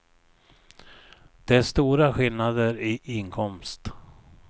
Det är stora skillnader i inkomst.